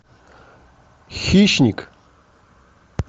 хищник